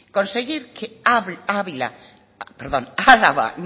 conseguir ávila perdón álava